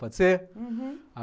Pode ser? Uhum. Ah